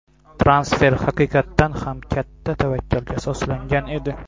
Transfer haqiqatan ham katta tavakkalga asoslangan edi.